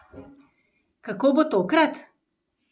Kako bo tokrat?